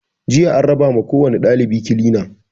Jiya an raba ma kowani ɗalibi kilina